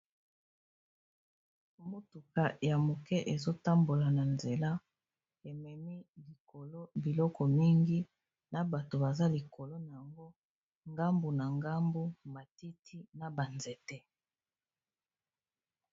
Mutuka ya moke ezo tambola na nzela, ememi likolo biloko mingi na bato baza likolo na yango ngambu na ngambu matiti na ba nzete.